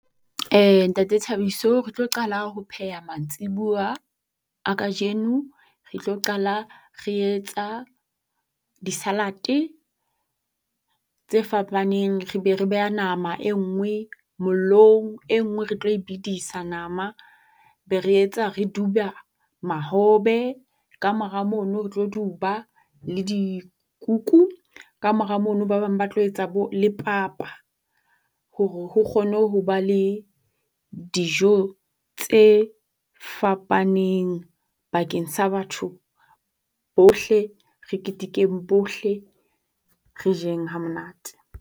Eya Ntate Thabiso, re tlo qala ho pheha mantsibuwa a kajeno. Re tlo qala re etsa di-salad-e tse fapaneng. Re be re beha nama e nngwe mollong. E nngwe re tlo e bedisa nama. Be re etsa re duba mahobe. Ka mora mono, re tlo duba le dikuku. Ka mora mono ba bang ba tlo etsa bo le papa hore ho kgone ho ba le dijo tse fapaneng bakeng sa batho bohle. Re ketekeng bohle. Re jeng ha monate